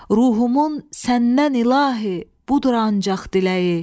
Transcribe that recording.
Ruhumun səndən İlahi, budur ancaq diləyi.